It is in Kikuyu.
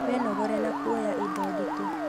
Wĩnogore na kuoya indo nditũ